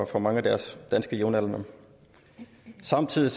fra mange af deres danske jævnaldrendes samtidig